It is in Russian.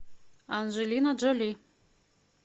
анджелина джоли